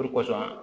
O de kosɔn